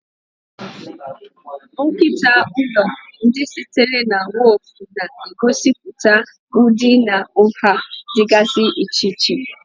Nkịta ụlọ, ndị sitere na woofu, na-egosipụta ụdị na nha dịgasị iche iche.